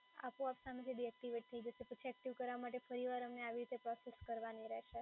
આપોઆપ ડીએક્ટિવેટ થઈ જશે, પછી એક્ટિવ કરાવા માટે ફરી વાર આની આવી પ્રોસેસ કરવાની રહેશે